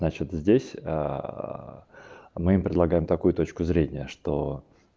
значит здесь мы им предлагаем такую точку зрения что